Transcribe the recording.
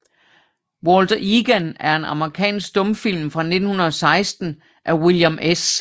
Walter Egan er en amerikansk stumfilm fra 1916 af William S